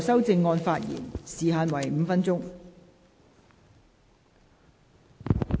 代理主席，時限是否5分鐘？